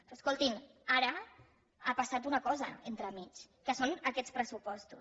però escoltin ara ha passat una cosa entremig que són aquests pressupostos